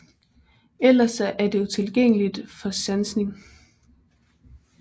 Ellers er det utilgængeligt for sansning